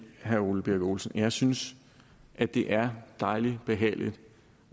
herre ole birk olesen at jeg synes at det er dejlig behageligt